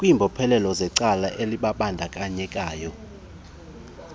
kwimbophelelo zecala elibandakanyekayo